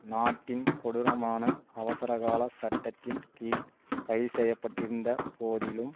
நாட்டின் கொடூரமான அவசரகால சட்டத்தின் கீழ் கைது செய்ய பட்டிருந்த போதிலும்